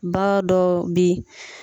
Ba dɔw bɛ ye.